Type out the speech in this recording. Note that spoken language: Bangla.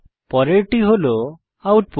পরেরটি হল আউটপুট